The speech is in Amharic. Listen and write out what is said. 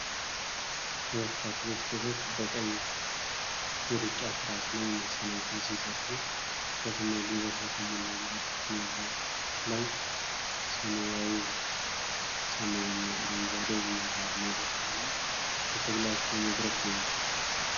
ሁለት አትሌት ሴቶች በቀይ የሩጫ ትራክ ላይ መሰናክል ሲዘሉ፣ ትኩረትና ጉልበት በተሞላበት ሁኔታ ላይ፣ ሰማያዊው ሰማይ እና አረንጓዴው የሣር ሜዳ ደግሞ ለትግላቸው መድረክ ሆኗል።